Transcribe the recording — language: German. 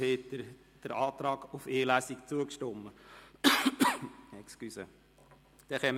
Wird dieser Antrag aus den Reihen des Rats bestritten?